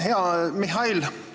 Hea Mihhail!